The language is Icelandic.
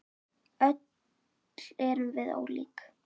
Öll erum við ólík.